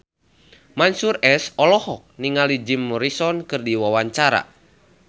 Mansyur S olohok ningali Jim Morrison keur diwawancara